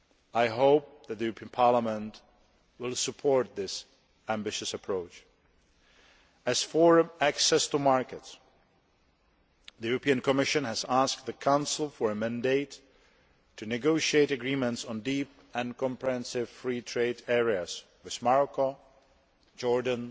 I hope that the European Parliament will support this ambitious approach. As for access to markets, the Commission has asked the Council for a mandate to negotiate agreements on deep and comprehensive free trade areas with Morocco, Jordan,